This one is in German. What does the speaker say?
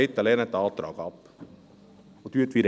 Bitte lehnen Sie diesen Antrag ab.